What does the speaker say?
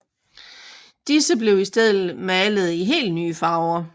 Disse blev i stedet malede i helt nye farver